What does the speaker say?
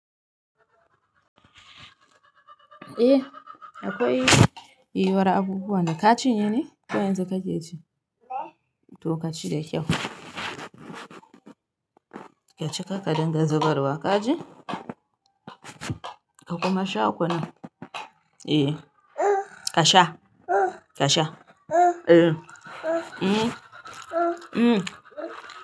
Eh akwai yiyuwar abubuwa da ka ci yene? Ko yanzu kake ci? To ka ci da kyau. Ka ci karka dingan zubarwa ka ji? Ka kuma sha kunin? Eh ka sha, ka sha eh mm mm.